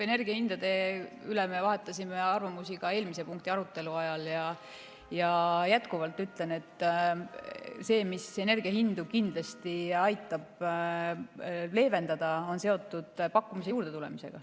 Energiahindade üle me vahetasime arvamusi ka eelmise punkti arutelu ajal ja ma jätkuvalt ütlen, et see, mis kindlasti aitab energiahindu leevendada, on seotud pakkumise juurdetulemisega.